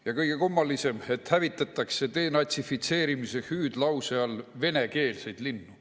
Ja kõige kummalisem, et hävitatakse denatsifitseerimise hüüdlause all venekeelseid linnu.